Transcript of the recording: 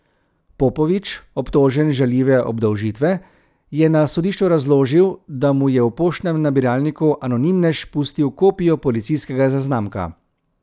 Popovič, obtožen žaljive obdolžitve, je na sodišču razložil, da mu je v poštnem nabiralniku anonimnež pustil kopijo policijskega zaznamka.